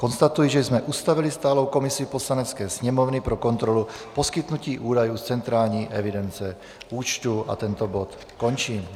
Konstatuji, že jsme ustavili stálou komisi Poslanecké sněmovny pro kontrolu poskytnutí údajů z centrální evidence účtů, a tento bod končím.